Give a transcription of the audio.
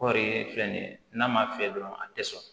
Kɔɔri ye filɛ nin ye n'a ma fiyɛ dɔrɔn a tɛ sɔn